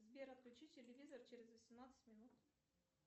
сбер отключи телевизор через восемнадцать минут